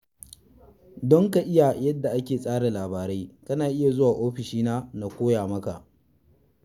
Don ka iya yadda ake tsara labarai kana iya zuwa ofishina na koya maka.